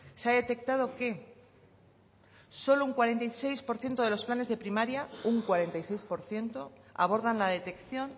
se ha detectado que solo un cuarenta y seis por ciento de los planes de primaria un cuarenta y seis por ciento abordan la detección